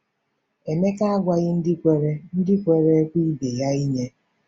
Emeka agwaghị ndị kwere ndị kwere ekwe ibe ha inye.